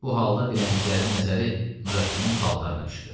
Bu halda dilənçilərin nəzəri Nurəddinin paltarına düşdü.